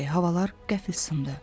Havalar qəfil sındı.